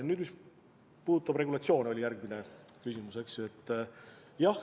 Nüüd, mis puudutab regulatsioone – see oli järgmine küsimus, eks?